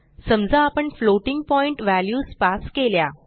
समजा आपण floating point values pass केल्या